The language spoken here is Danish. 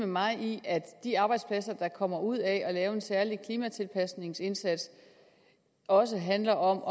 mig i at de arbejdspladser der kommer ud af at lave en særlig klimatilpasningsindsats også handler om